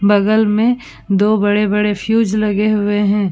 बगल मे दो बड़े बड़े फ्यूज़ लगे हुए हैं।